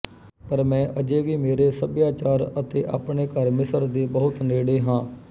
ਪਰ ਮੈਂ ਅਜੇ ਵੀ ਮੇਰੇ ਸਭਿਆਚਾਰ ਅਤੇ ਆਪਣੇ ਘਰ ਮਿਸਰ ਦੇ ਬਹੁਤ ਨੇੜੇ ਹਾਂ